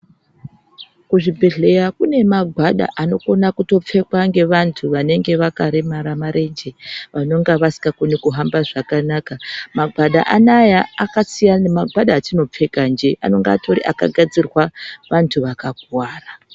Kuzvibhedhleya kunemagwada anokhona kutopfekwa ngevantu vanenge vakaremara mareche , vanonga vasingakone kuhamba zvakanaka. Magwada anaya akasiyana nemagwada atinopfeka nje, anonga atori akagadzirwa vantu vakakuwara.